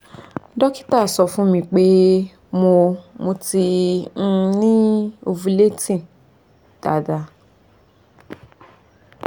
dókítà sọ fún mi pé mo mo ti um ni ovulating daadaa